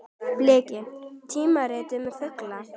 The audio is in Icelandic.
Bliki: tímarit um fugla.